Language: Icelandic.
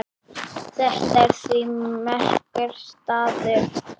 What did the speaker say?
Þetta er því merkur staður.